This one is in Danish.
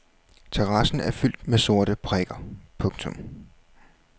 Terrassen er fyldt med sorte prikker. punktum